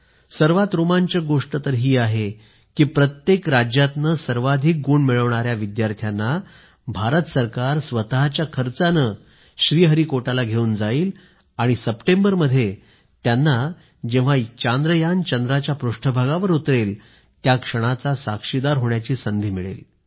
सर्वात रोमांचक गोष्ट तर ही आहे की प्रत्येक राज्यातून सर्वाधिक गुण मिळवणाऱ्या विद्यार्थ्यांना भारत सरकार स्वतःच्या खर्चानं श्रीहरिकोटाला घेऊन जाईल आणि सप्टेंबरमध्ये त्यांना जेव्हा चांद्रयान चंद्राच्या पृष्ठभागावर उतरेलत्या क्षणाचा साक्षीदार होण्याची संधी मिळेल